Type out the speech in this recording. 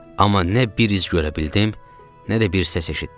Amma nə bir iz görə bildim, nə də bir səs eşitdim.